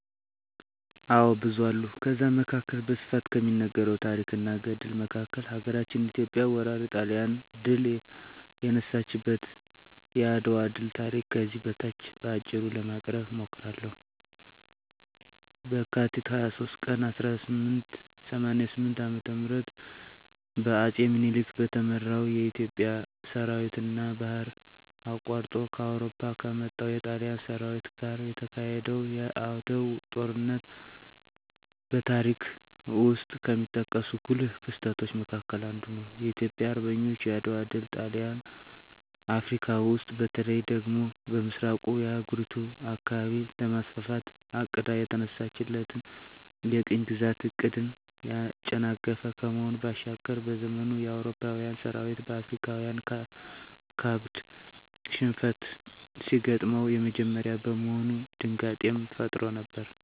አዎ ብዙ አሉ ከዛ መካከል በስፋት ከሚነገረው ታረክ እና ገድል መካከል ሀገራችን ኢትዮጵያ ወራሪ ጣሊያንን ድል የነሳችበት የአድዋ ድል ታሪክ ከዚህ በታች በአጭሩ ለማቅረብ እሞክራለሁ፦ በካቲት 23 ቀን 1888 ዓ.ም በአጼ ምኒልክ በተመራው የኢትዮጵያ ሠራዊትና ባህር አቋርጦ ከአውሮፓ ከመጣው የጣሊያን ሠራዊት ጋር የተካሄደው የዓድዋው ጦርነት በታሪክ ውስጥ ከሚጠቀሱ ጉልህ ክስተቶች መካከል አንዱ ነው። የኢትዮጵያ አርበኞች የዓድዋ ድል ጣሊያን አፍረካ ውስጥ በተለይ ደግሞ በምሥራቁ የአህጉሪቱ አካባቢ ለማስፋፋት አቅዳ የተነሳችለትን የቅኝ ግዛት ዕቅድን ያጨናገፈ ከመሆኑ ባሻገር፤ በዘመኑ የአውሮፓዊያን ሠራዊት በአፍሪካዊያን ካበድ ሽንፈት ሲገጥመው የመጀመሪያ በመሆኑ ድንጋጤንም ፈጥሮ ነበር።